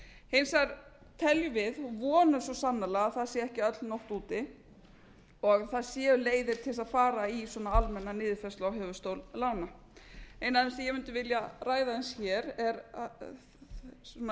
hins vegar teljum við og vonum svo sannarlega að það sé ekki öll nótt úti og það séu leiðir til þess að fara í svona almenna niðurfærslu á höfuðstól lána ein af þeim sem ég mundi vilja ræða aðeins hér er svona